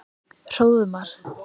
Hróðmar